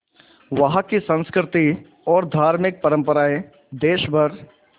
वहाँ की संस्कृति और धार्मिक परम्पराएं देश भर